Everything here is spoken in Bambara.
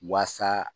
Wasa